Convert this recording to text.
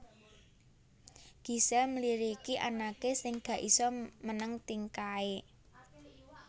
Gisel mliriki anake sing gak iso meneng tingkahe